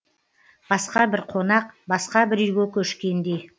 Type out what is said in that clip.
басқа бір қонақ басқа бір үйге көшкендей